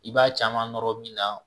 I b'a caman nɔrɔ min na